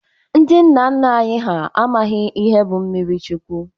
Ndi nna nna anyi ha amaghi ihe bu mmiri chụkwu.